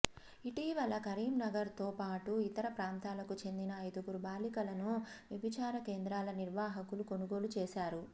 ఇటీవల కరీంనగర్తోపాటు ఇతర ప్రాంతాలకు చెందిన ఐదుగురు బాలికలను వ్యభిచార కేంద్రాల నిర్వాహకులు కొనుగోలు చేశారు